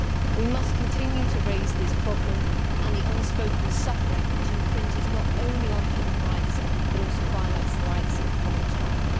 We must continue to raise this problem and the unspoken suffering, which not only infringes on human rights, but also violates the rights of the child.